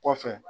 Kɔfɛ